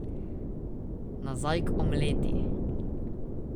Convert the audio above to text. Nazaj k omleti.